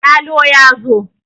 yalo ya zo!